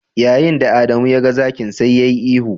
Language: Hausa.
Yayin da Adamu ya ga zakin, sai yayi ihu.